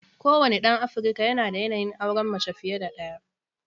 Kowane ɗan Afirka yanada yanayin auren mace fiye da ɗaya.